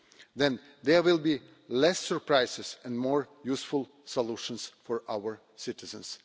Then there will be less surprises and more useful solutions for our citizens.